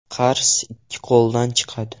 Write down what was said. Qars ikki qo‘ldan chiqadi.